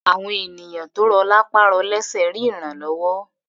Àwọn ènìyàn tó rọ̀ lápá rọ lésẹ̀ rí ìrànlọ́wọ́